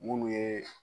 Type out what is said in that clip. Munnu ye